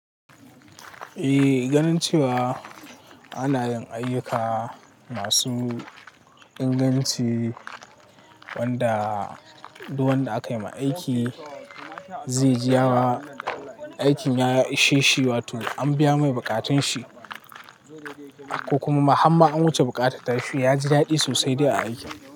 Ehh ganin cewa ana yin ayyuka masu inganci wanda duk wanda aka ma aiki zai ji ya ra aikin ya ishe shi wato an biya mai bukatun shi ko kuma harma an wuce bukatar shi ya ji daɗi sosai da aiki.